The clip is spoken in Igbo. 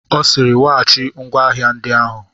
Ọ sịịrị weghachi ngwa ahịa ndị ahụ!